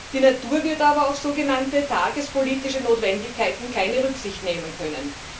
Die Natur wird aber auf so genannte tagespolitische Notwendigkeiten keine Rücksicht nehmen können.